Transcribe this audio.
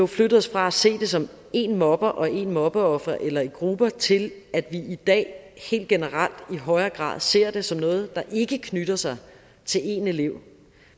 flyttet os fra at se det som én mobber og ét mobbeoffer eller i grupper til at vi i dag helt generelt i højere grad ser det som noget der ikke knytter sig til en elev